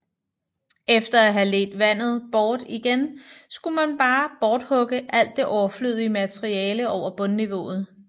Efter at have ledt vandet bort igen skulle man bare borthugge alt det overflødige materiale over bundniveauet